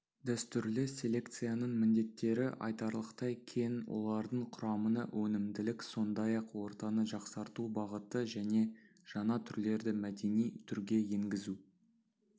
дәстүрлі селекцияның міндеттері айтарлықтай кең олардың құрамына өнімділік сондай-ақ ортаны жақсарту бағыты және жаңа түрлерді мәдени түрге енгізу